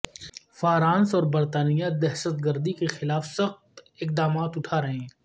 France اور برطانیہ دہشت گردی کے خلاف سخت اقدامات اٹھا رہے ہیں